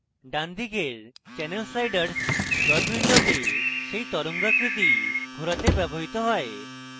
ডানদিকের channel sliders plot window সেই তরঙ্গাকৃতি ঘোরাতে ব্যবহৃত হয়